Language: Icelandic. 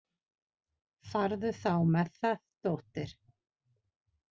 Farðu þá með það, dóttir.